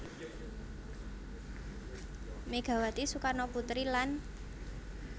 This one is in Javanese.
Megawati Soekarnoputri lan